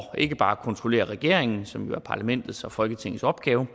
ikke bare at kontrollere regeringen som jo er parlamentets og folketingets opgave